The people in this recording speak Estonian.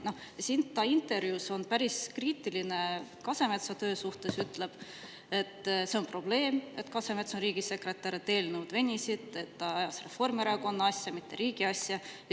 Ta on intervjuus päris kriitiline Kasemetsa töö suhtes, ütleb, et see on probleem, et Kasemets on riigisekretär, kuna eelnõud venivad ja ta ajab Reformierakonna asja, mitte riigi asja.